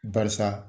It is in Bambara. Barisa